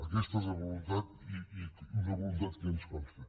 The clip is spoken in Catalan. aquesta és la voluntat i una voluntat que ens consta